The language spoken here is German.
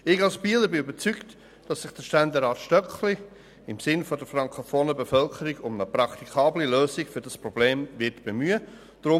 Ich bin davon überzeugt, dass sich Ständerat Stöckli als Bieler im Sinn der frankofonen Bevölkerung um eine praktikable Lösung dieses Problems bemühen wird.